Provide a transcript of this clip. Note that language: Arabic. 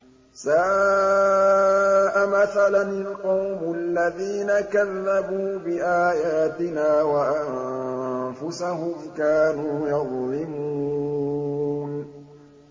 سَاءَ مَثَلًا الْقَوْمُ الَّذِينَ كَذَّبُوا بِآيَاتِنَا وَأَنفُسَهُمْ كَانُوا يَظْلِمُونَ